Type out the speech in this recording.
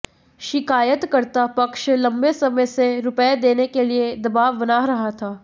शिकायतकर्ता पक्ष लंबे समय से रुपए देने के लिए दबाव बना रहा था